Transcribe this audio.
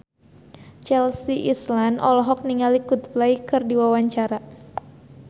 Chelsea Islan olohok ningali Coldplay keur diwawancara